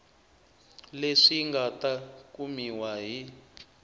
leswi nga ta kumiwa hi